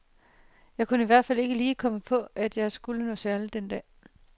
Jeg kunne i hvert fald ikke lige komme på, at jeg skulle noget særligt den dag.